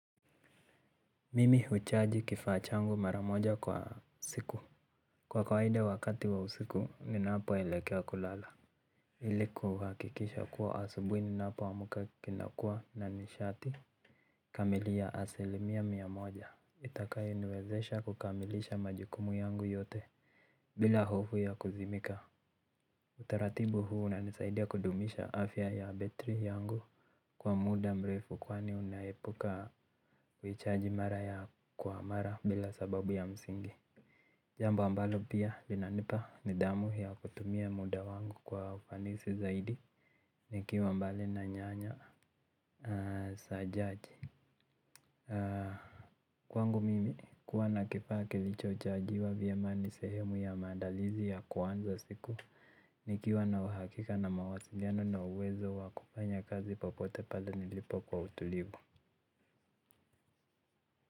Mimi huchaji kifaa changu mara moja kwa siku. Kwa kawaida wakati wa usiku ninapo elekea kulala ili kuhakikisha kuwa asubuhi ninapo amka kinakua na nishati. Kamilia asili mia mia moja itakayo niwezesha kukamilisha majukumu yangu yote. Bila hofu ya kuzimika utaratibu huu unanisaidia kudumisha afya ya betri yangu kwa muda mrefu kwani unaepuka kuichaji mara kwa mara bila sababu ya msingi jambo ambalo pia linanipa nidhamu kutumia mida wangu kwa ufanisi zaidi. Nikiwa mbali na nyanya sa chache kwangu mimi kuwa na kifaa kilichochajiwa vyema ni sehemu ya maandalizi ya kuanza siku. Nikiwa na uhakika na mawasiliano na uwezo wakufanya kazi popote pale nilipo kwa utulivu.